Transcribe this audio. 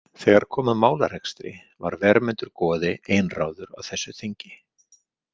Þegar kom að málarekstri var Vermundur goði einráður á þessu þingi.